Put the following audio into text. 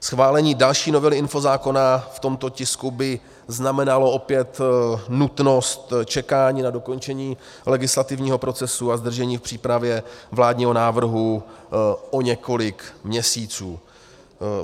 Schválení další novely infozákona v tomto tisku by znamenalo opět nutnost čekání na dokončení legislativního procesu a zdržení v přípravě vládního návrhu o několik měsíců.